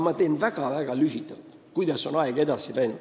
Ma räägin väga-väga lühidalt, kuidas on aeg edasi läinud.